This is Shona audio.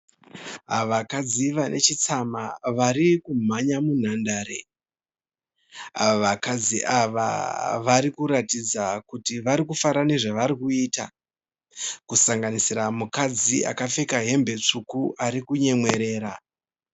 Vakadzi vanechitsama varikumhanya munhandare. Vakadzi ava varikuratidza kuti varikufara nezvavarikuita Kusanganisira mukadzi akapfeka hembe tsvuku arikunyemwerera.